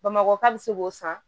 Bamakɔka bɛ se k'o san